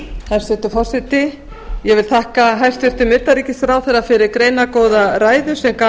hæstvirtur forseti ég vil þakka hæstvirtum utanríkisráðherra fyrir greinargóða ræðu sem gaf